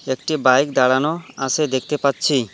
একটি বাইক দাঁড়ানো আসে দেখতে পাচ্ছি।